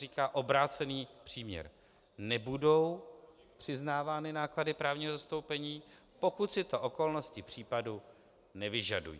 Říká se obrácený příměr: nebudou přiznávány náklady právního zastoupení, pokud si to okolnosti případu nevyžadují.